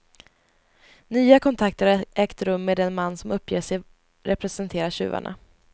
Nya kontakter har ägt rum med den man som uppger sig representera tjuvarna.